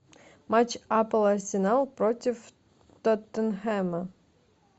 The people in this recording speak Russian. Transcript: матч апл арсенал против тоттенхэма